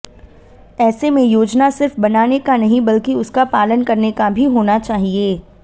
ऐसे में योजना सिर्फ बनाने का नहीं बल्कि उसका पालन करने का भी होना चाहिए